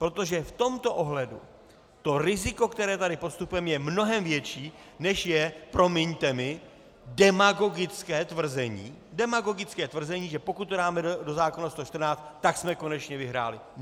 Protože v tomto ohledu to riziko, které tady podstupujeme, je mnohem větší, než je, promiňte mi, demagogické tvrzení, demagogické tvrzení, že pokud to dáme do zákona 114, tak jsme konečně vyhráli.